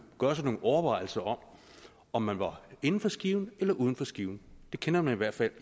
gøre sig nogle overvejelser om om man var inden for skiven eller uden for skiven det kender man i hvert fald